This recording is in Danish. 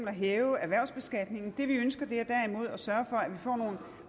at hæve erhvervsbeskatningen det vi ønsker er derimod at sørge for